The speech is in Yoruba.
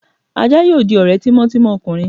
aja yóò dí ore tímò timò ọkunrín